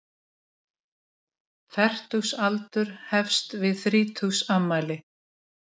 Fertugsaldur hefst við þrítugsafmæli.